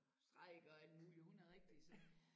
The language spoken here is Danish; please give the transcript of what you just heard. Strikker alt muligt hun er rigtig sådan